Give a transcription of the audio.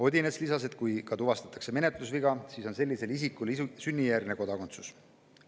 Odinets lisas, et kui ka tuvastatakse menetlusviga, siis on sellisel isikul sünnijärgne kodakondsus.